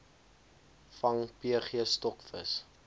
vang pg stokvis